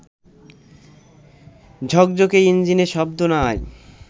ঝকঝকে ইঞ্জিনে শব্দ নাই